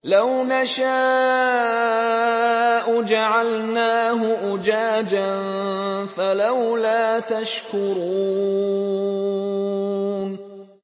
لَوْ نَشَاءُ جَعَلْنَاهُ أُجَاجًا فَلَوْلَا تَشْكُرُونَ